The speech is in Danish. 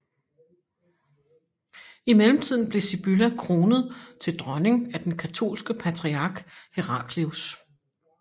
I mellemtiden blev Sibylla kronet til dronning af den katolske patriark Heraclius